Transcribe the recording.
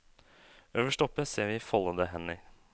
Øverst oppe ser vi foldede hender.